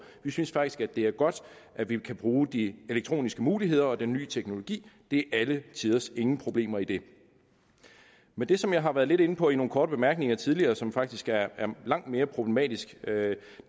vi synes faktisk at det er godt at vi kan bruge de elektroniske muligheder og den nye teknologi det er alle tiders ingen problemer i det men det som jeg har været lidt inde på i nogle korte bemærkninger tidligere og som faktisk er langt mere problematisk